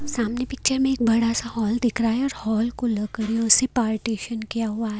सामने पिक्चर में एक बड़ा सा हॉल दिख रहा है और हॉल को अलग करें उसे पार्टीशन किया हुआ --